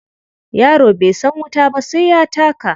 Yaro bai san wuta ba sai ya taka.